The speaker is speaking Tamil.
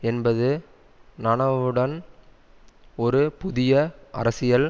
என்பது நனவுடன் ஒரு புதிய அரசியல்